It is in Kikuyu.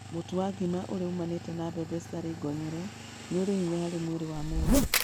Mũtu wa ngima ũria ũmanite na mbembe citarĩ ngonyore nĩ ũrĩ hinya harĩ mwĩrĩ wa mũndũ.